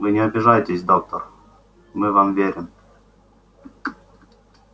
вы не обижайтесь доктор мы вам верим